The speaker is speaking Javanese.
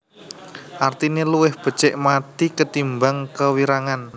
Artine luwih becik mathi ketimbang kewirangan